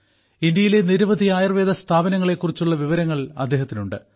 ഇന്ത്യയിലെ നിരവധി ആയുർവേദ സ്ഥാപനങ്ങളെ കുറിച്ചുള്ള വിവരങ്ങൾ അദ്ദേഹത്തിനുണ്ട്